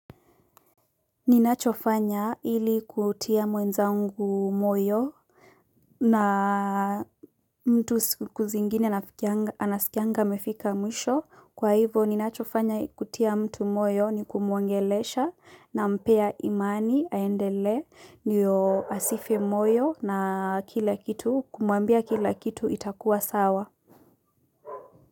Ninachofanya ili kutia mwenzangu moyo na mtu siku zingine anasikanga amefika mwisho kwa hivo ninachofanya kutia mtu moyo ni kumuongelesha na mpea imani aendele niyo asife moyo na kumuambia kila kitu itakuwa sawa.